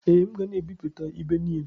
Ee, m ga na-ebipụta ibe niile.